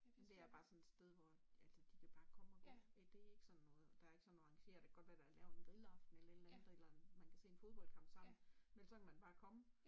Det er bare sådan et sted hvor altså de kan bare komme og gå ja det ikke sådan noget der er ikke sådan noget arrangeret det kan godt være der er lavet en grillaften eller et eller andet eller en man kan se en fodboldkamp sammen men så kan man bare komme